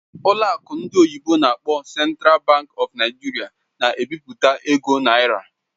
Ụlọ akụ ndị oyibo n'akpọ "Central Bank of Nigeria" na-ebipụta ego naira.